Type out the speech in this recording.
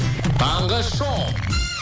таңғы шоу